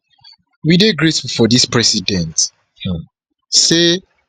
we dey grateful for dis di president um say